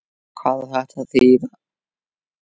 Hvað á þetta að þýða!